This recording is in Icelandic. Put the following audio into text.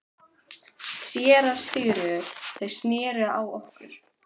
SÉRA SIGURÐUR: Þeir sneru á okkur.